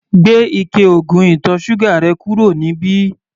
Gbé ike oògùn ìtọ̀ ṣúgà rẹ̀ kúrò níbí!